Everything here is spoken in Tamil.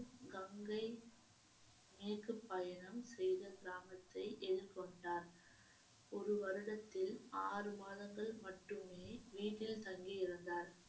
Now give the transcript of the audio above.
கங்கை மேற்குப் பயணம் செய்த கிராமத்தை எதிர்கொண்டார் ஒரு வருடத்தில் ஆறு மாதங்கள் மட்டுமே வீட்டில் தங்கி இருந்தார்